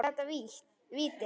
Var þetta víti?